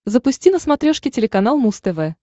запусти на смотрешке телеканал муз тв